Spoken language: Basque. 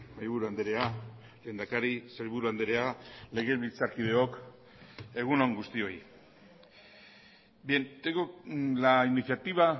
mahaiburu andrea lehendakari sailburu andrea legebiltzarkideok egun on guztioi bien tengo la iniciativa